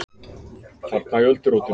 Þarna í öldurótinu!